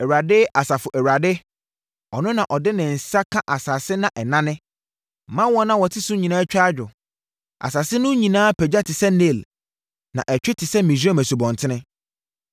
Awurade, Asafo Awurade, Ɔno na ɔde ne nsa ka asase ma ɛnane, ma wɔn a wɔte so nyinaa twa adwo. Asase no nyinaa pagya te sɛ Nil na ɛtwe te sɛ Misraim asubɔnten.